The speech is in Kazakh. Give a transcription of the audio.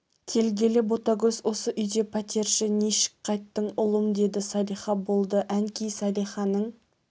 келгелі ботагөз осы үйде пәтерші нишік қайттың ұлым деді салиха болды әнкей салиханың